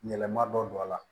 Yɛlɛma dɔ don a la